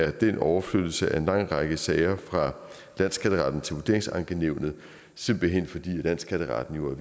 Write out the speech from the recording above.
at den overflyttelse af lang række sager fra landsskatteretten til vurderingsankenævnene simpelt hen fordi landsskatteretten